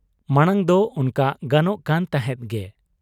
ᱢᱟᱬᱟᱝᱫᱚ ᱚᱱᱠᱟ ᱜᱟᱱᱚᱜ ᱠᱟᱱ ᱛᱟᱦᱮᱸᱫ ᱜᱮ ᱾